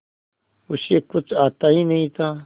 उसे कुछ आता ही नहीं था